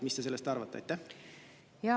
Mis te sellest arvate?